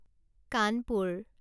Kanpur